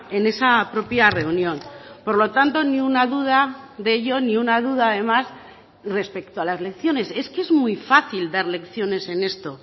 en esa propia reunión por lo tanto ni una duda de ello ni una duda además respecto a las lecciones es que es muy fácil dar lecciones en esto